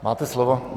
Máte slovo.